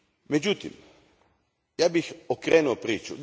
Međutim, ja bih okrenuo priču.